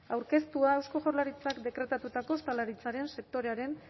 aurkeztua eusko jaurlaritzak dekretatutako ostalaritzaren sektorearen